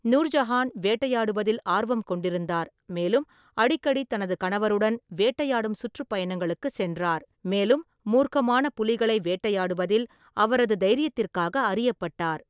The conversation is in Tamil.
நூர்ஜஹான் வேட்டையாடுவதில் ஆர்வம் கொண்டிருந்தார், மேலும் அடிக்கடி தனது கணவருடன் வேட்டையாடும் சுற்றுப்பயணங்களுக்குச் சென்றார், மேலும் மூர்க்கமான புலிகளை வேட்டையாடுவதில் அவரது தைரியத்திற்காக அறியப்பட்டார்.